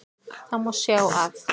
Það má sjá af